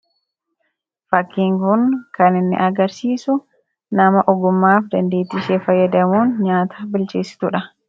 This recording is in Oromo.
Fakkiin kun kan inni agarsiisu nama ogummaa fi dandeettii ishee fayyadamuun nyaata bilcheessitu dha.